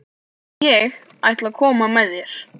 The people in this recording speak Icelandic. Ég ætla að koma með þér!